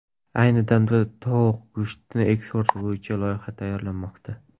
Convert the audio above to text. Ayni damda tovuq go‘shtini eksporti bo‘yicha qaror loyihasi tayyorlanmoqda.